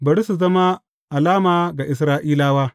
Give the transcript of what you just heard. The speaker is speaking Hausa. Bari su zama alama ga Isra’ilawa.